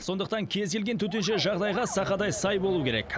сондықтан кез келген төтенше жағдайға сақадай сай болу керек